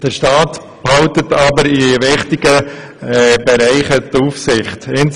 Der Staat behält jedoch in wichtigen Bereichen die Aufsicht.